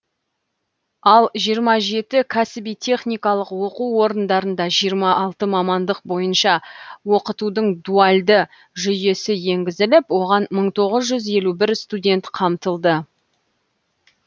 ал жиырма жеті кәсіби техникалық оқу орындарында жиырма алты мамандық бойынша оқытудың дуальді жүйесі енгізіліп оған мың тоғыз жүз елу бір студент қамтылды